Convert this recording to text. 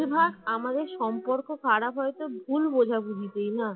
বেশিরভাগ আমাদের সম্পর্ক খারাপ হয় তো ভুল বোঝাবুঝি তাই না